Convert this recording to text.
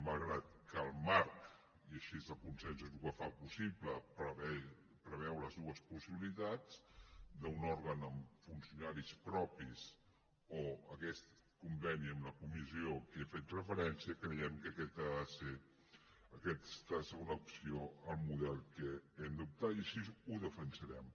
malgrat que el marc i així el consens és el que ho fa possible preveu les dues possibilitats d’un òrgan amb funcionaris propis o aquest conveni amb la comissió a què he fet referència creiem que aquesta ha de ser una opció al model a què hem d’optar i així ho defensarem